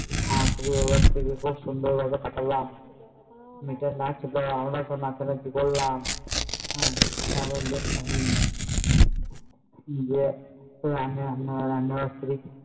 তারপর কি সুন্দর ভাবে পাঠালাম নিজের করলাম